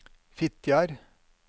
Fitjar